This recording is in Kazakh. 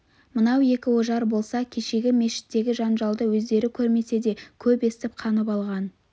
мынау екі ожар болса кешегі мешіттегі жанжалды өздері көрмесе де көп естіп қанып алған